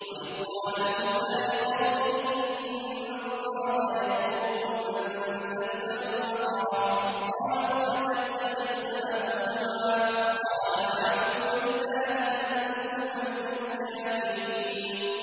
وَإِذْ قَالَ مُوسَىٰ لِقَوْمِهِ إِنَّ اللَّهَ يَأْمُرُكُمْ أَن تَذْبَحُوا بَقَرَةً ۖ قَالُوا أَتَتَّخِذُنَا هُزُوًا ۖ قَالَ أَعُوذُ بِاللَّهِ أَنْ أَكُونَ مِنَ الْجَاهِلِينَ